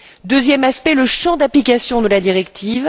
Deuxième aspect, le champ d'application de la directive.